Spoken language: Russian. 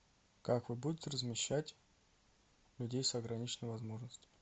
как вы будете размещать людей с ограниченными возможностями